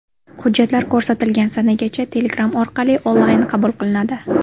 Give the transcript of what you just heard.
Hujjatlar ko‘rsatilgan sanagacha Telegram orqali onlayn qabul qilinadi.